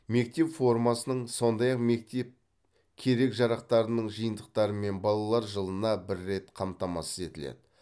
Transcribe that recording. мектеп формасының сондай ақ мектеп керек жарақтарының жиынтықтарымен балалар жылына бір рет қамтамасыз етіледі